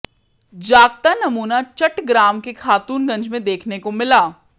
जागता नमूना चट्टग्राम के खातूनगंज में देखने को मिला